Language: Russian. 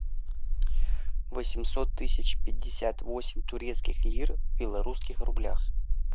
восемьсот тысяч пятьдесят восемь турецких лир в белорусских рублях